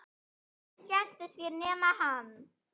Allir skemmtu sér nema hann.